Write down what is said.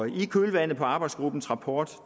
i kølvandet på arbejdsgruppens rapport